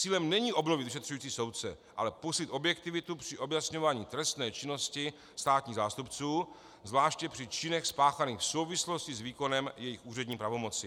Cílem není obnovit vyšetřující soudce, ale posílit objektivitu při objasňování trestné činnosti státních zástupců, zvláště při činech spáchaných v souvislosti s výkonem jejich úřední pravomoci.